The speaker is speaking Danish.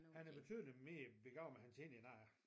Han er betydeligt mere begavet med hans hænder end øh